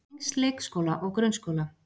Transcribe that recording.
Tengsl leikskóla og grunnskóla.